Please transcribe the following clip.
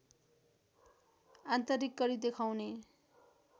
आन्तरिक कडी देखाउने